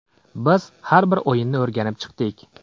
Biz har bir o‘yinni o‘rganib chiqdik.